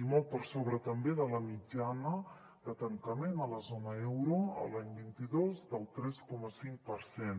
i molt per sobre també de la mitjana de tancament a la zona euro l’any vint dos del tres coma cinc per cent